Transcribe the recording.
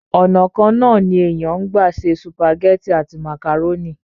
ònà kan náà ní èèyàn ń gbà ṣe sùpàgẹ́tì àti màkàrónì